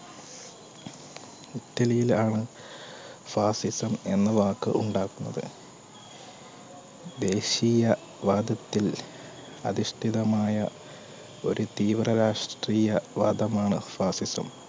ഇറ്റലിയിൽ ആണ് ആഹ് fascism എന്ന വാക്ക് ഉണ്ടാകുന്നത് ദേശീയ വാദത്തിൽ അനിഷ്ടിതമായ ഒരു തീവ്ര രാഷ്ട്രീയ വാദമാണ് fascism